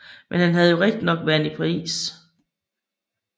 Men han hadde jo rigtignok været i Paris